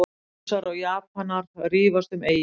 Rússar og Japanar rífast um eyju